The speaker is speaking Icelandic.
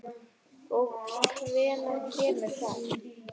Og hvenær kemur það?